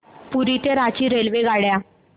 पुरी ते रांची रेल्वेगाड्या